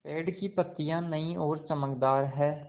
पेड़ की पतियां नई और चमकदार हैँ